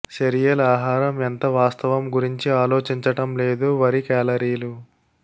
cereal ఆహారం ఎంత వాస్తవం గురించి ఆలోచించటం లేదు వరి కేలరీలు